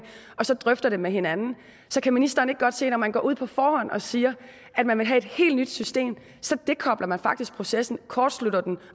og så drøfter det med hinanden så kan ministeren ikke godt se at når man går ud på forhånd og siger at man vil have et helt nyt system så dekobler man faktisk processen kortslutter den